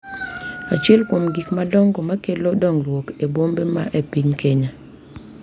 Achiel kuom gik madongo ma kelo dongruok e bombe man e piny Kenya